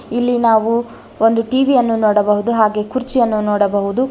ಇಲ್ಲಿ ನಾವು ಒಂದು ಟಿ_ವಿ ಯನ್ನು ನೋಡಬಹುದು ಹಾಗೆ ಕುರ್ಚಿಯನ್ನು ನೋಡಬಹುದು.